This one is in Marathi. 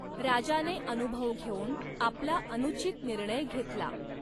राजाने अनुभव घेऊन आपला अनुचित निर्णय घेतला.